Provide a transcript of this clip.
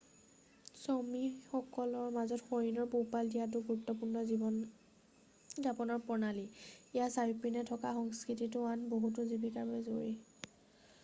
চমিসকলৰ মাজত হৰিণৰ পোহপাল দিয়াটো গুৰুত্বপূৰ্ণ জীৱন যাপনৰ প্ৰণালী ইয়াৰ চাৰিওপিনে থকা সংস্কৃতিতো আন বহুতো জীৱিকাৰ বাবে জৰুৰী